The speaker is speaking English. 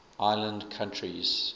island countries